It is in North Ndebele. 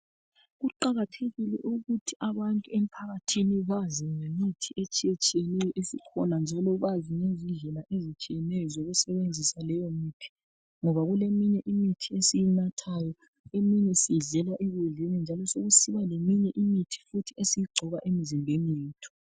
Kuqakathekile ukuthi abantu emphakathini bazi ngemithi etshiyetshiyeneyo esikhona njalo bazi ngezindlela ezitshiyeneyo zokusebenzisa leyomithi ngoba kuleminye imithi esiyinathayo, eminye siyidlela ekudleni njalo besekusiba leminye imithi futhi esiyigcoba emzimbeni yethu.